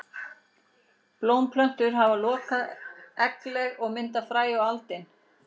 Blómplöntur hafa lokað eggleg og mynda fræ og aldin.